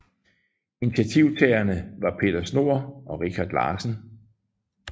Initiativtagerne var Peter Schnohr og Richard Larsen